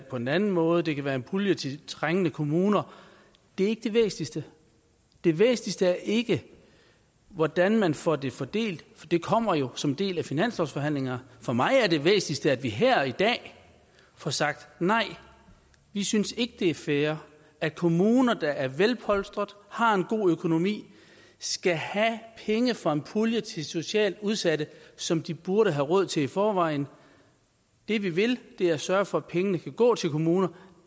på en anden måde det kan være en pulje til trængende kommuner det er ikke det væsentligste det væsentligste er ikke hvordan man får det fordelt for det kommer jo som en del af finanslovsforhandlingerne for mig er det væsentligste at vi her i dag får sagt nej vi synes ikke det er fair at kommuner der er velpolstrede har en god økonomi skal have penge fra en pulje til socialt udsatte som de burde have råd til i forvejen det vi vil er at sørge for at pengene går til kommuner